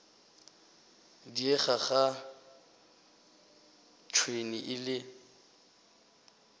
diega ga tšhwene e le